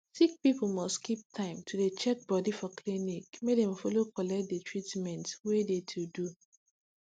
sick people must keep time to de checkbody for clinic make dem follow collect de treatment wey de to do